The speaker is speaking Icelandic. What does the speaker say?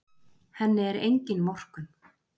Henni er engin vorkunn.